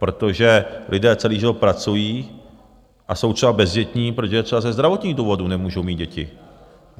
Protože lidé celý život pracují a jsou třeba bezdětní, protože třeba ze zdravotních důvodů nemůžou mít děti.